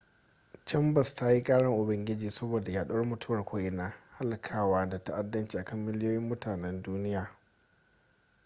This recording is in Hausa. chambers ta yi karan ubangiji saboda yaɗuwar mutuwa ko'ina halakawa da ta'addanci akan miliyoyin mutanen duniya